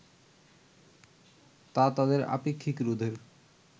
তা তাদের আপেক্ষিক রোধের